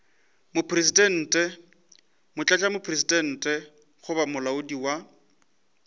mopresidente motlatšamopresidente goba moahlodi wa